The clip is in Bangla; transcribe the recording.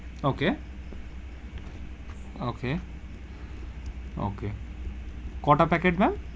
Okay okay okay কোটা প্যাকেট ma'am?